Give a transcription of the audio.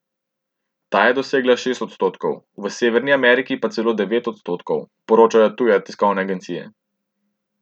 Ta je dosegla šest odstotkov, v Severni Ameriki pa celo devet odstotkov, poročajo tuje tiskovne agencije.